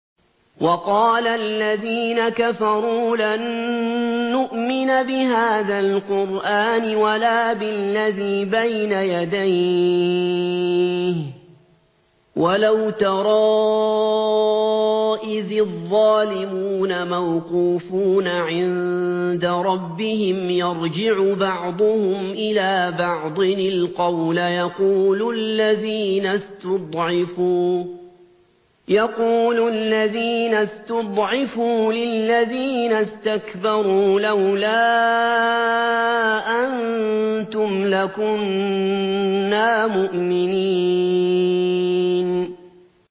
وَقَالَ الَّذِينَ كَفَرُوا لَن نُّؤْمِنَ بِهَٰذَا الْقُرْآنِ وَلَا بِالَّذِي بَيْنَ يَدَيْهِ ۗ وَلَوْ تَرَىٰ إِذِ الظَّالِمُونَ مَوْقُوفُونَ عِندَ رَبِّهِمْ يَرْجِعُ بَعْضُهُمْ إِلَىٰ بَعْضٍ الْقَوْلَ يَقُولُ الَّذِينَ اسْتُضْعِفُوا لِلَّذِينَ اسْتَكْبَرُوا لَوْلَا أَنتُمْ لَكُنَّا مُؤْمِنِينَ